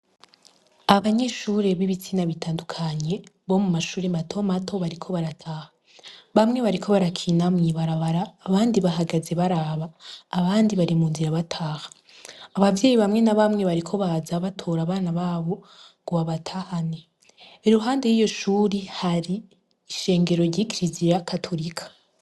Abanyeshuri bo mu mwaka wa kane mu gisata c'ubwubatsi muri kaminusa y'uburundi bari mu mwimenyerezo w'umwuga wabo bambaye amasarubeti asa n'ubururu bamwe bakaba bafise n'udukofero dusa n'umuhondo ku mitwe yabo nabandi bakaba bambaye n'udufuka mu nwa bafise ivyuma vy'imiti ririmbo imbere yabo bariko barabiteranya.